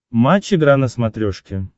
матч игра на смотрешке